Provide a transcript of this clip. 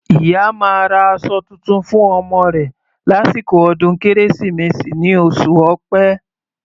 Ìyá máa ra aṣọ tuntun fún ọmọ rẹ̀ lásìkò ọdún Kérésìmesì ní oṣù Ọ̀pẹ.